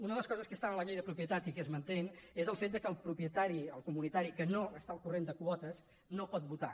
una de les coses que hi havia a la llei de propietat i que es manté és el fet que el propietari el comunitari que no està al corrent de quotes no pot votar